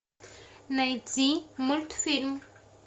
найти мультфильм